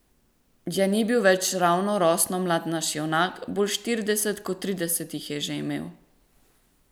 Ja, ni bil več ravno rosno mlad naš junak, bolj štirideset kot trideset jih je že imel.